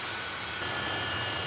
Durdu getdi, durdu getdi.